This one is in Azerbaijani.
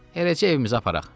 Eləcə evimizə aparaq.